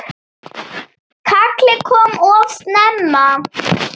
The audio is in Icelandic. Kallið kom of snemma.